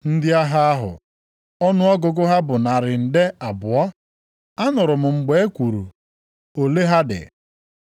Ndị agha ahụ, ọnụọgụgụ ha bụ narị nde abụọ. Anụrụ m mgbe e kwuru ole ha dị.